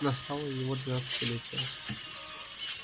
настало и его двенадцатилетие